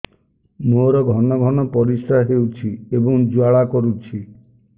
ମୋର ଘନ ଘନ ପରିଶ୍ରା ହେଉଛି ଏବଂ ଜ୍ୱାଳା କରୁଛି